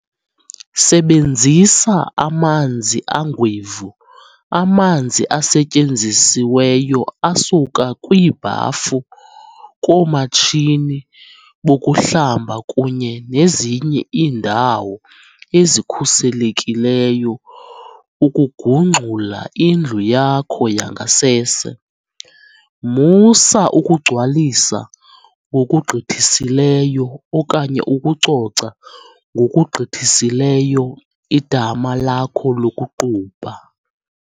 Sebenzisa "amanzi angwevu" - amanzi asetyenzisiweyo asuka kwiibhafu, koomatshini bokuhlamba kunye nezinye iindawo ezikhuselekileyo ukugungxula indlu yakho yangasese. Musa ukugcwalisa ngokugqithisileyo okanye ukucoca ngokugqithisileyo idama lakho lokuqubha.